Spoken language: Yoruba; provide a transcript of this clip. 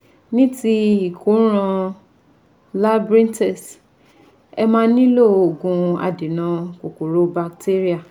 Ní ti ìkóràn labyrinthis ẹ máa nílò òògùn adènà kòkòrò batéríà